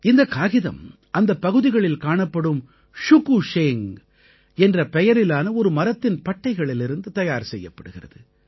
இந்தக் காகிதம் அந்தப் பகுதிகளில் காணப்படும் ஷுகு ஷேங் என்ற பெயரிலான ஒரு மரத்தின் பட்டைகளிலிருந்து தயார் செய்யப்படுகிறது